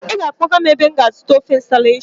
Ị ga-akpọga m ebe m ga-azụta ofe Nsala echi!